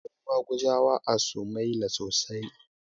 Akwai maguzawa a sumaila sosai